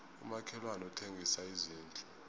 umakhelwani uthengisa izindlu